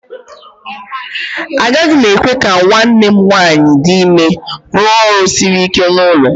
Agaghị m ekwe ka nwanne m nwanyị dị ime rụọ ọrụ siri ike n'ụlọ